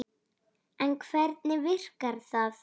En hvernig virkar það?